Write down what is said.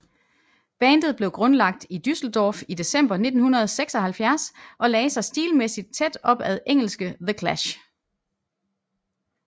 Bandet blev grundlagt i Düsseldorf i december 1976 og lagde sig stilmæssigt tæt op ad engelske The Clash